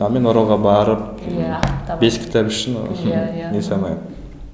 ал мен оралға барып ы бес кітап үшін не ете алмаймын